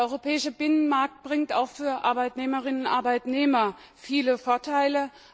Der europäische Binnenmarkt bringt auch für die Arbeitnehmerinnen und Arbeitnehmer viele Vorteile.